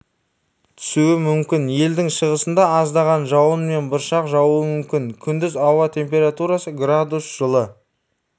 түсуі мүмкін елдің шығысында аздаған жауын мен бұршақ жаууы мүмкін күндіз ауа температурасы градус жылы